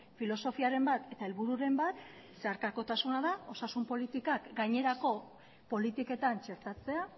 filosofiaren bat eta helbururen bat zeharkakotasuna da osasun politikak gainerako politiketan txertatzea